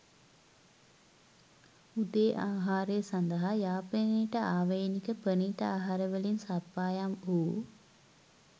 උදේ ආහාරය සඳහා යාපනයට ආවේණික ප්‍රනීත අහර වලින් සප්පායම් වූ